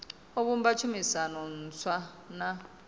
o vhumba tshumisano ntswa na